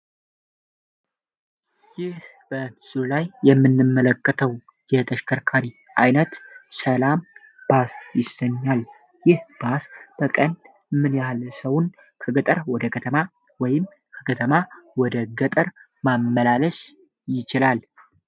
ይህ በምስል ላይ የምንመለከተው የተሽከርካሪ አይነት ሰላም ባስ ይሰኛል። ይህ ባስ በቀን ምን ያለ ሰውን ከገጠር ወደ ከተማ ወይም ከከተማ ወደ ገጥር ማመላለች ይችላል?